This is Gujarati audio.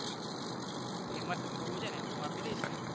famous થવુ છે ને હું આપી દઈશ ને